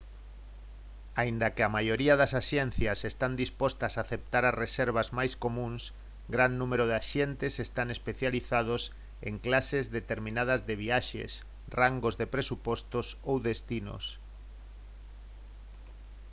aínda que a maioría das axencias están dispostas a aceptar as reservas máis comúns gran número de axentes están especializados en clases determinadas de viaxes rangos de presupostos ou destinos